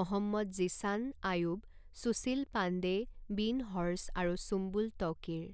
মহম্মদ জীছান আয়ুব, সুশীল পাণ্ডে, বীণ হৰ্ছ, আৰু সুম্বুল তৌকীৰ।